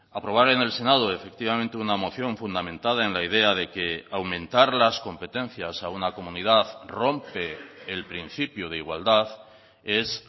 aprobar en el senado efectivamente una moción fundamentada en la idea de que aumentar las competencias a una comunidad rompe el principio de igualdad es